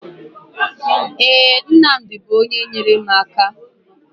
Ee, Nnamdi bụ onye nyere m aka